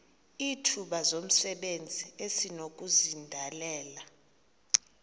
izithuba zomsebenzi esinokuzidalela